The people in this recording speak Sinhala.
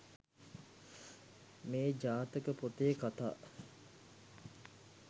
මේ ජාතක පොතේ කථා